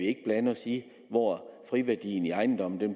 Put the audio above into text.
ikke blande sig i hvor friværdien i ejendommen